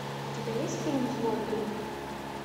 у тебя есть фильм злой дух